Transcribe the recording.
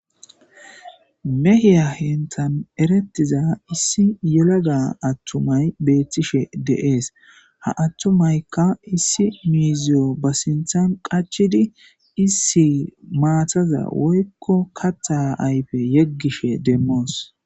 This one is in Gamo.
mehiya henthan erettiza issi yelega attumay beettishe deees ha attumaykka issi miiziyo ba sinthan qachidi issi maataza woykko katta ayfe yeggishe demmoos